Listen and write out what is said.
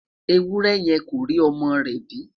ewúrẹ yẹ kó rí ọmọ rè bi